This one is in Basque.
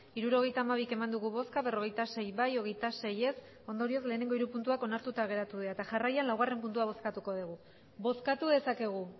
hirurogeita hamabi eman dugu bozka berrogeita sei bai hogeita sei ez ondorioz lehenengo hiru puntuak onartuta geratu dira eta jarraian laugarren puntua bozkatuko dugu bozkatu dezakegu